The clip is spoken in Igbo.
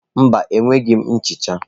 Mba, enweghị m nchicha.